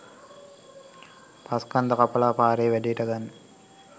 පස්‌ කන්ද කපලා පාරේ වැඩේට ගන්න